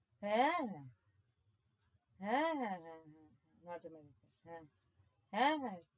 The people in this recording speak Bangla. হ্যাঁ হ্যাঁ হ্যাঁ হ্যাঁ হ্যাঁ নাম শুনেছি। হ্যাঁ হ্যাঁ হ্যাঁ